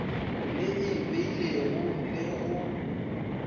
le e beilego le go